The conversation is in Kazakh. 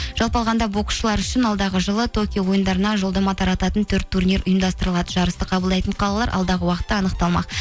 жалпы алғанда боксшылар үшін алдағы жылы токио ойындарына жолдама тарататын төрт турнир ұйымдастырылады жарысты қабылдайтын қалалар алдағы уақытта анықталмақ